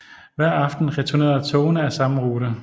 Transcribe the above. Hver aften returnerede togene af samme rute